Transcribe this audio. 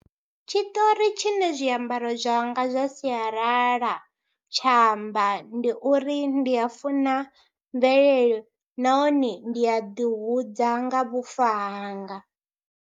Tshiṱori tshine zwiambaro zwanga zwa sialala tsha amba ndi uri ndi a funa mvelele nahone ndi a ḓihudza nga vhufa hanga.